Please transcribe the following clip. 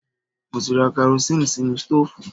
Mo ti ra karosín sínú stóòfù